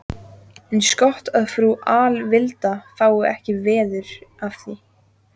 Eins gott að frú Alvilda fái ekki veður af því.